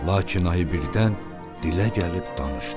Lakin ayı birdən dilə gəlib danışdı.